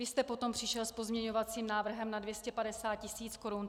Vy jste potom přišel s pozměňovacím návrhem na 250 tisíc korun.